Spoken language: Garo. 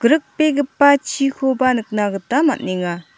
grikbegipa chikoba nikna gita man·enga.